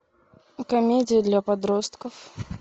комедии для подростков